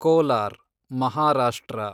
Kolar, Maharashtra